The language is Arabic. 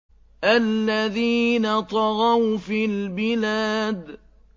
الَّذِينَ طَغَوْا فِي الْبِلَادِ